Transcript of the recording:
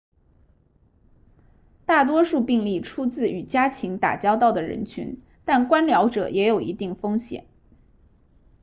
大多数病例出自与家禽打交道的人群但观鸟者也有一定风险